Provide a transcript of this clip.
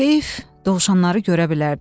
Heyif, dovşanları görə bilərdin.